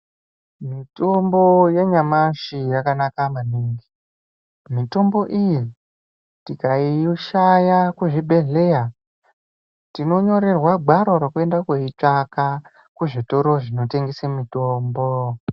Mitombo yenyamashi yakanaka maningi. Mitombo iyi tikaishaya kuzvibhedhleya ,tinonyorerwa gwaro rokuenda koitsvaka kuzvitoro zvinotengese mitombo.